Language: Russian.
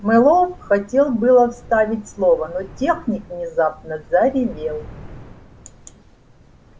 мэллоу хотел было вставить слово но техник внезапно заревел